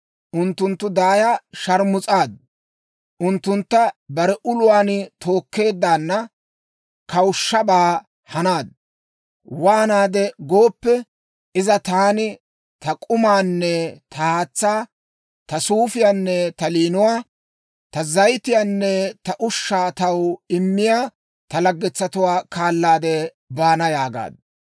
Unttunttu daaya sharmus'aaddu; unttuntta bare uluwaan tookkeeddaana kawushshabaa hanaaddu. Waanaade gooppe, iza, ‹Taani ta k'umaanne ta haatsaa, ta suufiyaanne ta liinuwaa, ta zayitiyaanne ta ushshaa taw immiyaa ta laggetsatuwaa kaalaade baana› yaagaaddu.